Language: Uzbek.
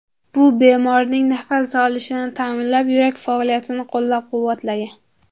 Bu bemorning nafas olishini ta’minlab, yurak faoliyatini qo‘llab-quvvatlagan.